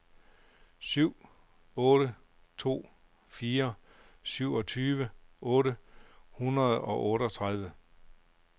syv otte to fire syvogtyve otte hundrede og otteogtredive